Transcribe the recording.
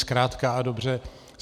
Zkrátka a dobře.